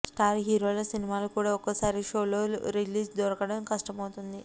star హీరోల సినిమాలు కూడా ఒక్కోసారి సోలో రిలీజులు దొరకడం కష్టమవుతోంది